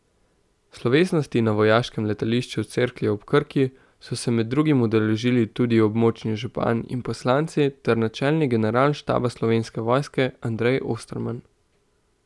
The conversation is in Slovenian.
Slovesnosti na vojaškem letališču Cerklje ob Krki so se med drugim udeležili tudi območni župani in poslanci ter načelnik Generalštaba Slovenske vojske Andrej Osterman.